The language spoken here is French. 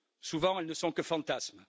souvent, elles ne sont que fantasmes.